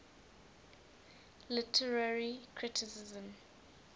literary criticism